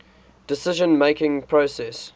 decision making process